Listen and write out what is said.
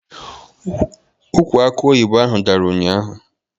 Ụkwụ akọ oyibo ahụ dàrà ụnyaahụ